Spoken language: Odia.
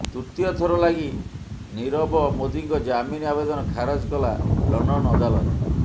ତୃତୀୟ ଥର ଲାଗି ନିରବ ମୋଦିଙ୍କ ଜାମିନ ଆବେଦନ ଖାରଜ କଲା ଲଣ୍ଡନ ଅଦାଲତ